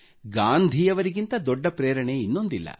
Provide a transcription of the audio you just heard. ಗಾಂಧಿಯವರಿಗಿಂತ ದೊಡ್ಡ ಪ್ರೇರಣೆ ಇನ್ನೊಂದಿಲ್ಲ